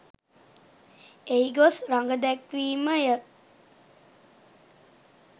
එහි ගොස් රඟදැක්වීම ය.